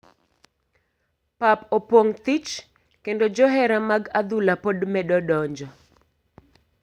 Pap opong thich kendo johera mag adhula pod medo donjo